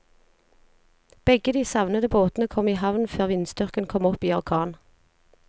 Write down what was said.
Begge de savnede båtene kom i havn før vindstyrken kom opp i orkan.